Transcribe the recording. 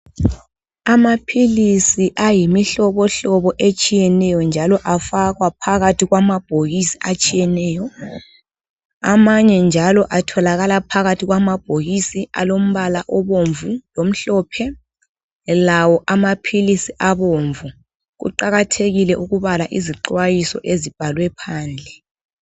Amaphilisi ayimihlobohlobo etshiyeneyo, njalo, afakwa phakathi kwamabhokisi atshiyeneyo. Amanye njalo atholakala phakathi kwamabhokisi alombala obomvu lomhlophe. Lawo amaphilisi abomvu. Kuqakathekile ukubala iziqondiso ezibhalwe phandle.